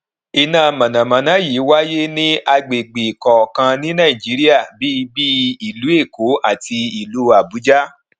iná mọnàmọná yìí wáyé ní agbègbè kọọkan ní nàìjíríà bí bíi ìlú èkó àti ìlú àbújá